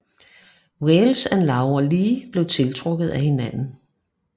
Wales og Laura Lee bliver tiltrukket af hinanden